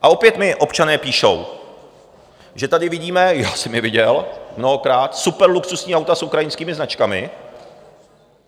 A opět mi občané píší, že tady vidíme, já jsem je viděl mnohokrát, superluxusní auta s ukrajinskými značkami.